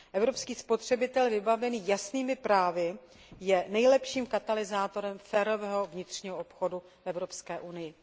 Evropský spotřebitel vybavený jasnými právy je nejlepším katalyzátorem fairového vnitřního obchodu v Evropské unii.